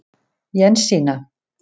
Jensína